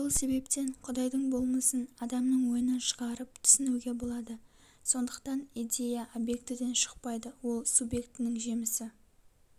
сол себептен құдайдың болмысын адамның ойынан шығарып түсінуге болады сондықтан идея объектіден шықпайды ол субъектінің жемісі